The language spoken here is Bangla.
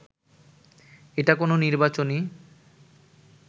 এটা কোনো নির্বাচনী